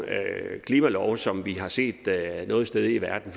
klimalov som vi har set noget sted i verden